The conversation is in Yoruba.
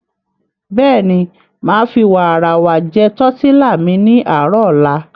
Bẹ́ẹ̀ni, màá fi wààràwà jẹ tọ̀tílà mi ní àárò ọ̀la.